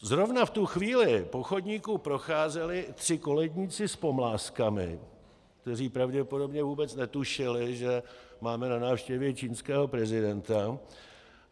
Zrovna v tu chvíli po chodníku procházeli tři koledníci s pomlázkami, kteří pravděpodobně vůbec netušili, že máme na návštěvě čínského prezidenta.